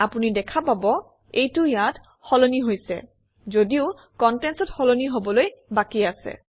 আপুনি দেখা পাব এইটো ইয়াত সলনি হৈছে যদিও contents অত সলনি হবলৈ বাকী আছে